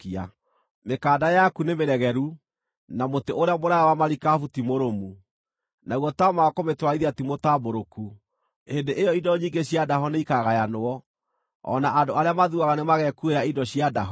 Mĩkanda yaku nĩmĩregeru, na mũtĩ ũrĩa mũraaya wa marikabu ti mũrũmu, naguo taama wa kũmĩtwarithia timũtambũrũku. Hĩndĩ ĩyo indo nyingĩ cia ndaho nĩ ikaagayanwo, o na andũ arĩa mathuaga nĩmagekuuĩra indo cia ndaho.